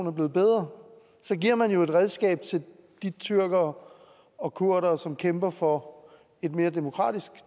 er blevet bedre så giver man jo et redskab til de tyrkere og kurdere som kæmper for et mere demokratisk